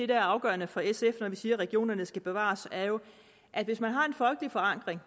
der er afgørende for sf når vi siger at regionerne skal bevares er jo at hvis man har en folkelig forankring